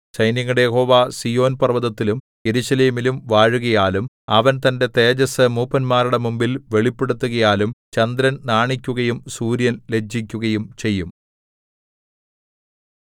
സൈന്യങ്ങളുടെ യഹോവ സീയോൻ പർവ്വതത്തിലും യെരൂശലേമിലും വാഴുകയാലും അവന്‍ തന്റെ തേജസ്സ് മൂപ്പന്മാരുടെ മുമ്പിൽ വെളിപ്പെടുത്തുകയാലും ചന്ദ്രൻ നാണിക്കുകയും സൂര്യൻ ലജ്ജിക്കുകയും ചെയ്യും